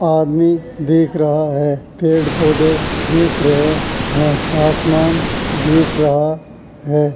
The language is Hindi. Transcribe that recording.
आदमी दीख रहा है। पेड़ पौधे दीख रहे हैं। आसमान दीख रहा है।